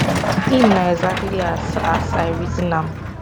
im na exactly as as i reason am